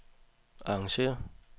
arrangér